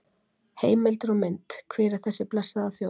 Heimildir og mynd: Hver er þessi blessaða þjóð?